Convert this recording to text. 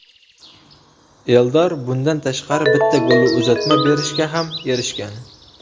Eldor bundan tashqari bitta golli uzatma berishga ham erishgan.